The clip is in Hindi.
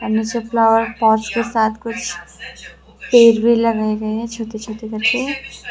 फ्लावर पोत कुछ पेड़ भी लगाए गए है छोटे छोटे कर के।